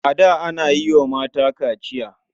A da ana yi wa mata kachiya.